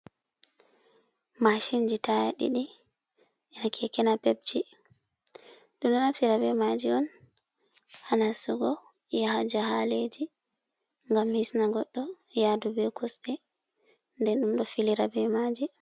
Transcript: Maashinji taaya ɗiɗi haa keeke na pebji, ɗum ɗo naftira bee maaji on haa nastugo yaha jahaale ngam hisna goɗɗo yaadu bee kosɗe nd ɗum do filira bee maji.